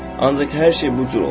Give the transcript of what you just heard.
Ancaq hər şey bu cür oldu.